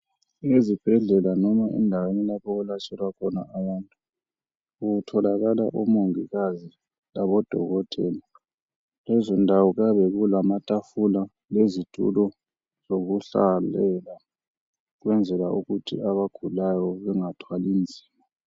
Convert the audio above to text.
Ezibhedlela noma endaweni lapho okwelatshelwa khona abantu. Kutholakaka, omongikazi labodokotela. Kulezondawo, kuyabe kulamatafula, lezitulo, zokuhlalela. Ukwenzela, ukuthi abagulayo, bangathwali nzima.